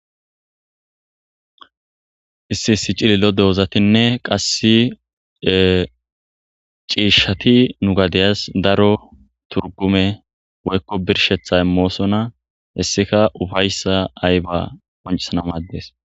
issi issi cilillo doozatinne qasse ciishshati nu gadeyas daro turgume woykko birshethay moosona hessika ufayssa ayba qoncisana maaddees